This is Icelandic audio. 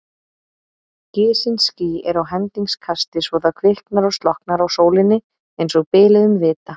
Gisin ský eru á hendingskasti svo það kviknar og slokknar á sólinni einsog biluðum vita.